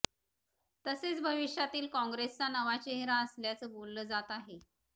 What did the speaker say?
तसेच भविष्यातील कॉंग्रेसचा नवा चेहरा असल्याचं बोलाल जात आहे